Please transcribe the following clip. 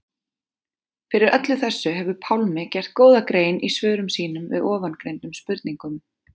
Fyrir öllu þessu hefur Pálmi gert góða grein í svörum sínum við ofangreindum spurningum.